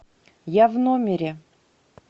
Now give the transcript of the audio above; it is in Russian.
я в номере